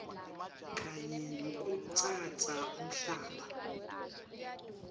kanye nekutsatsa umhlaba